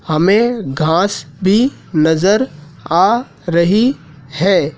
हमें घास भी नजर आ रही है।